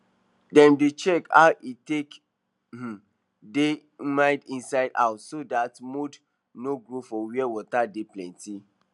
dem dey check how e take um dey humid inside house so dat mold no grow for where water dey plenty